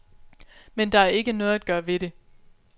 Men der er ikke noget at gøre ved det.